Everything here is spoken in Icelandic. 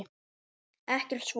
Ekkert svo.